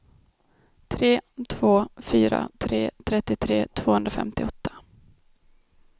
tre två fyra tre trettiotre tvåhundrafemtioåtta